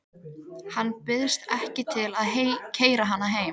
Hann býðst ekki til að keyra hana heim.